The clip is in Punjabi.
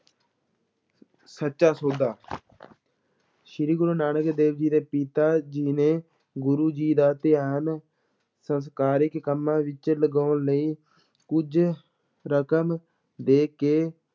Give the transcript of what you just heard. ਸੱਚਾ ਸੌਦਾ ਸ੍ਰੀ ਗੁਰੂ ਨਾਨਕ ਦੇਵ ਜੀ ਦੇ ਪਿਤਾ ਜੀ ਨੇ ਗੁਰੂ ਜੀ ਦਾ ਧਿਆਨ ਸੰਸਾਰਿਕ ਕੰਮਾਂ ਵਿੱਚ ਲਗਾਉਣ ਲਈ ਕੁਝ ਰਕਮ ਦੇ ਕੇ